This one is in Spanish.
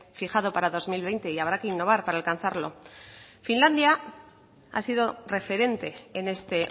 fijado para dos mil veinte y habrá que innovar para alcanzarlo finlandia ha sido referente en este